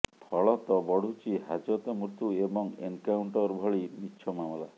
ଫଳତଃ ବଢୁଛି ହାଜତ ମୃତ୍ୟୁ ଏବଂ ଏନକାଉଣ୍ଟର ଭଳି ମିଛ ମାମଲା